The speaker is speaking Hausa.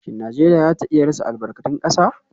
Shin Najeriya za ta iya rasa albarkatun kasa?